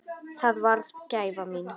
Það varð gæfa mín.